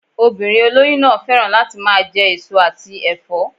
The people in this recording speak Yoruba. Obìnrin olóyún náà féràn láti máa je èso àti èfó